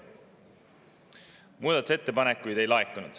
Muudatusettepanekuid ei laekunud.